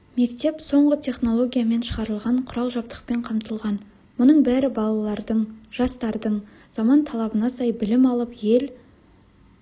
мектеп соңғы технологиямен шығарылған құрал-жабдықпен қамтылған мұның бәрі балалардың жастардың заман талабына сай білім алып ел